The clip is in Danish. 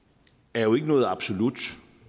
er jo ikke noget absolut